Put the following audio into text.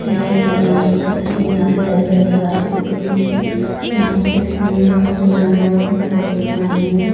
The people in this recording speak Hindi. यें एक मैदान की तस्वीर यहां पे हरि-हरि घासे उग रही है यहां पे स्विमिंग पुल भी बना जीसमें बहोत पानी है।